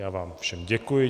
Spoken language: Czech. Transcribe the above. Já vám všem děkuji.